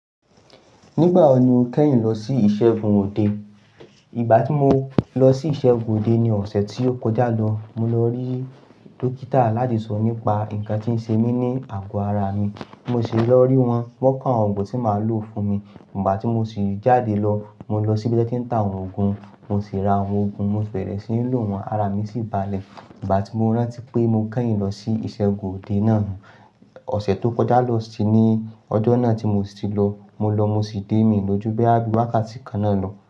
Nígbà wo ni o kẹ́yìn lọ sí ìṣègùn òde? Ìgbà tí mo lọ sí ìṣègùn òde ni ọ̀sẹ̀ tí ó kọjá lọ. Mo lọ rí dókítà láti sọ̀rọ̀ nípa nǹkan tí ń ṣe mí ní àgọ́ ara mi. Mo sì lọ rí wọn, wọ́n ko awón òògùn tí máa lò fún mi. Nígbà tí mo sì jáde lọ, mo lọ sí ibi tí wọ́n ti ń ta àwọn òògùn, mo sì ra àwọn òògùn, mo sì bẹ̀rẹ̀ sí ní lò wọ́n, ara mi sì balẹ̀. Ìgbà tí mo rántí pé mo kẹ́yìn lọ sí ìṣègùn òde náà ni ọ̀sẹ̀ tó kọjá lọ sì ni ọjọ́ náà tí mo sì lọ. Mo lọ mo sì dé mí lójú bí wákàtí kan náà lọ.